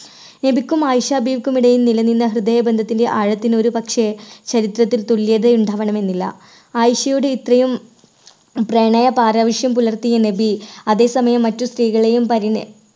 നബിക്കും ആയിഷ ബീവിക്കും ഇടയിൽ നിലനിന്ന ഹൃദയബന്ധത്തിന്റെ ആഴത്തിന് ഒരുപക്ഷേ ചരിത്രത്തിൽ തുല്യത ഉണ്ടാവണമെന്നില്ല. ആയിഷയുടെ ഇത്രയും പ്രണയ പാരിവശ്യം പുലർത്തിയ നബി അതേസമയം മറ്റു സ്ത്രീകളെയും പരിണ